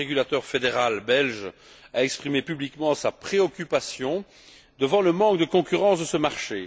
Le régulateur fédéral belge a exprimé publiquement sa préoccupation devant le manque de concurrence de ce marché.